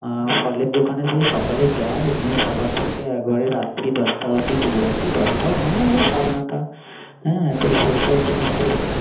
অ ফলের দোকানে যেয়ে সকালে যায় নিয়ে সকাল থেকে একবারে রাত্রি দশটা অব্দি খুলে রাখি খুলে রাখি। দশটা অহ ও সাড়ে নয়তা। হ্যা সেই সব জিনিস গুলো